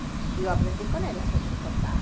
E eu aprendi com elas a tricotar.